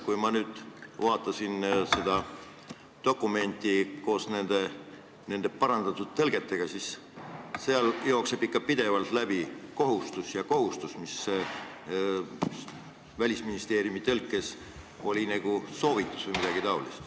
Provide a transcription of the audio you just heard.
Kui ma vaatasin seda dokumenti koos nende parandatud tõlgetega, siis nägin, et sealt jookseb ikka pidevalt läbi "kohustus" ja "kohustus", mis Välisministeeriumi tõlkes oli nagu soovitus või midagi taolist.